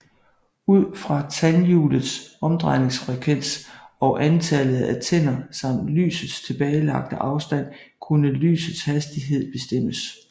Ud fra tandhjulets omdrejningsfrekvens og antallet af tænder samt lysets tilbagelagte afstand kunne lysets hastighed bestemmes